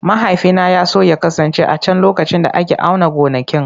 Mahaifina ya so ya kasance a can lokacin da ake auna gonakin.